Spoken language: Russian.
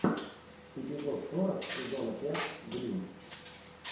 эпизод сорок сезона пять гримм